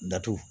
Datugu